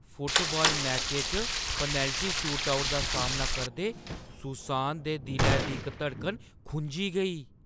Football मैचै च penalty shootout दा सामना करदे सुसान दे दिलै दी इक धड़कन खुंझी गेई ।